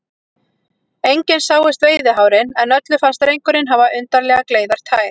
Engin sáust veiðihárin, en öllum fannst drengurinn hafa undarlega gleiðar tær.